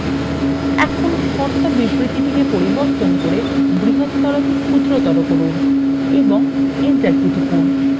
এখন শর্ত বিবৃতিতে পরিবর্তন করে বৃহত্তর কে ক্ষুদ্রতর করুন এবং enter key টিপুন